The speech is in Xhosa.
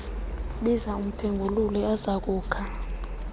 biza umphengululi azokukha